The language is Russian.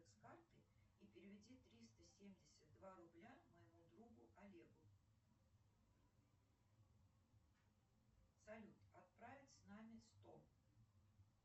с карты и переведи триста семьдесят два рубля моему другу олегу салют отправить с нами сто